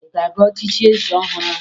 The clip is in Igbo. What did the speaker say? Ị ga-aga echichi eze ọhụrụ ahụ?